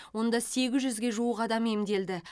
онда сегіз жүзге жуық адам емделді